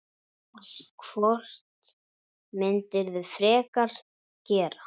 Hvort myndirðu frekar gera?